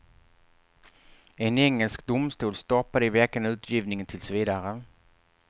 En engelsk domstol stoppade i veckan utgivningen tills vidare.